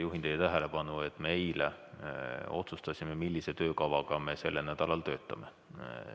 Juhin teie tähelepanu sellele, et eile me otsustasime, millise töökavaga me sellel nädalal töötame.